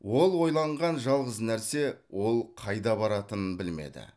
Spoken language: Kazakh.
ол ойланған жалғыз нәрсе ол қайда баратынын білмеді